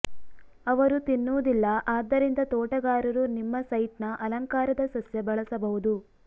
ಅವರು ತಿನ್ನುವುದಿಲ್ಲ ಆದ್ದರಿಂದ ತೋಟಗಾರರು ನಿಮ್ಮ ಸೈಟ್ನ ಅಲಂಕಾರದ ಸಸ್ಯ ಬಳಸಬಹುದು